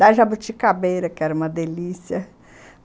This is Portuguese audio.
Da jabuticabeira, que era uma delícia.